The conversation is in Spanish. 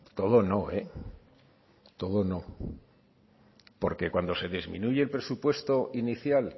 todo no eh todo no porque cuando se disminuye el presupuesto inicial